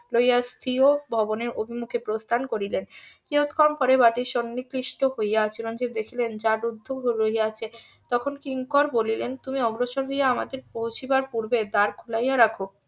লইয়া স্বীয় ভবনের উন্মুখে প্রস্থান করিলেন কিয়ৎক্ষণ পরে বাটির সন্নিবিষ্ট হইয়া চিরঞ্জিব দেখিলেন দ্বার রুদ্ধ হইয়া রহিয়াছে তখন কিঙ্কর বলিলেন তুমি অগ্রসর হইয়া আমাদের পৌঁছিবার পূর্বে দ্বার খুলিয়া রাখো